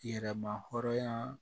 Yɛrɛma hɔrɔnya